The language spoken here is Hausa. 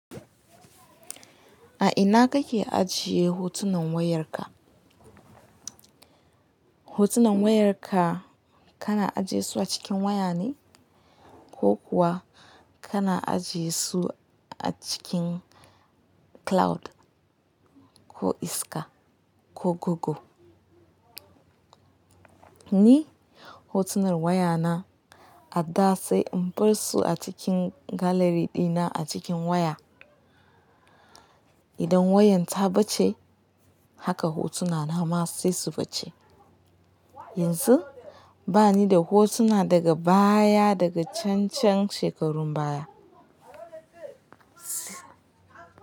A ina kake ajiye hotunan wayarka? Hotunan wayarka kana ajiyesu a cikin waya ne ko kuwa kana ajiyesu a cikin cloud ko iska ko gogo? Ni hotunan wayana a da sai in bar su a cikin gallery dina a cikin waya. Idan wayan ta ɓace haka hotunana ma sai su ɓace. Yanzu bani da hotuna daga baya daga cancan shekarun baya.